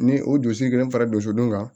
Ni o dugusɛjɛ burusidon kan